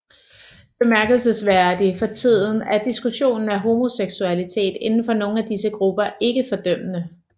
Bemærkelsesværdig for tiden er diskussionen af homoseksualitet indenfor nogle af disse grupper ikke fordømmende